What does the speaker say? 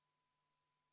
Urmas Reinsalu, palun!